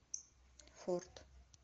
форт